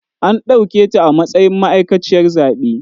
An ɗauketa a matsayin ma'aikaciyar zaɓe.